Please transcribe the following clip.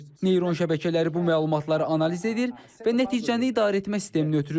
Neyron şəbəkələri bu məlumatları analiz edir və nəticəni idarəetmə sisteminə ötürür.